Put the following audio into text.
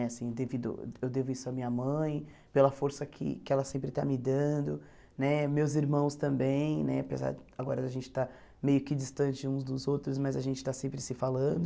Né assim devido. Eu devo isso à minha mãe, pela força que que ela sempre está me dando né, meus irmãos também né, apesar agora da gente estar meio que distante uns dos outros, mas a gente está sempre se falando.